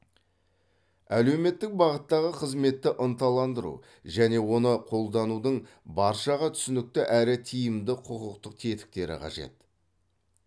әлеуметтік бағыттағы қызметті ынталандыру және оны қолданудың баршаға түсінікті әрі тиімді құқықтық тетіктері қажет